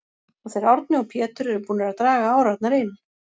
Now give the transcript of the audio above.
og þeir Árni og Pétur eru búnir að draga árarnar inn.